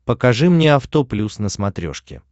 покажи мне авто плюс на смотрешке